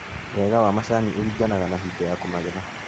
Wega wa macani ũringanaga na hingo ya kũmagetha.